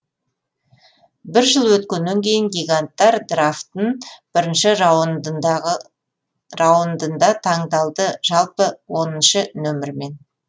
бір жыл өткеннен кейін гиганттар драфтын бірінші раундында таңдалды жалпы оныншы нөмірмен